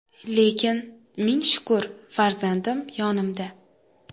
Lekin, ming shukr, farzandim yonimda.